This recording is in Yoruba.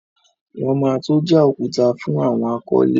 Wọn ma tó já òkúta fún àwọn akọ́lé.